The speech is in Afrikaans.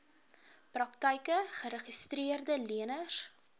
praktyke geregistreede leners